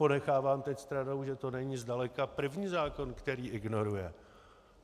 Ponechávám teď stranou, že to není zdaleka první zákon, který ignoruje.